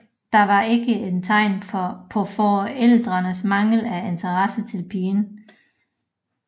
Dette var ikke et tegn på forældrenes mangel af interesse til pigen